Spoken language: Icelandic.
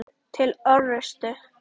Til orustu!